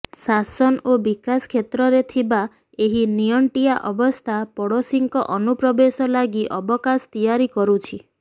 ଶାସନ ଓ ବିକାଶ କ୍ଷେତ୍ରରେ ଥିବା ଏହି ନିଅଣ୍ଟିଆ ଅବସ୍ଥା ପଡ଼ୋଶୀଙ୍କ ଅନୁପ୍ରବେଶ ଲାଗି ଅବକାଶ ତିଆରି କରୁଛି